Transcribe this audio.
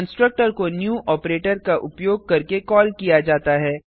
constructor को new operator का उपयोग करके कॉल किया जाता है